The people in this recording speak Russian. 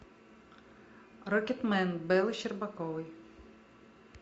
рокетмен бэлы щербаковой